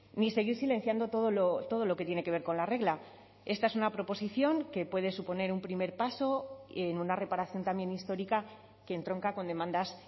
ni seguir silenciando todo lo que tiene que ver con la regla esta es una proposición que puede suponer un primer paso en una reparación también histórica que entronca con demandas